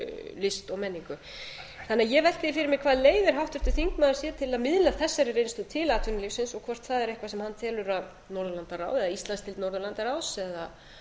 list og menningu ég velti því fyrir mér hvað leiðir háttvirtur þingmaður sér til að miðla þessari reynslu til atvinnulífsins og hvort það er eitthvað sem hann telur að norðurlandaráð eða íslandsdeild norðurlandaráðs eða